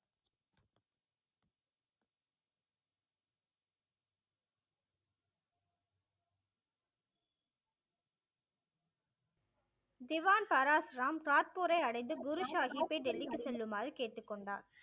திவான் பராஸ்ராம் சாத்பூரை அடைந்து குரு சாகிப்பை டெல்லிக்கு செல்லுமாறு கேட்டுக்கொண்டார்.